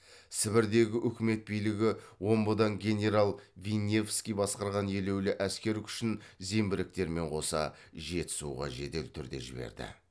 сібірдегі үкімет билігі омбыдан генерал винневский басқарған елеулі әскер күшін зеңбіректермен қоса жетісуға жедел түрде жіберді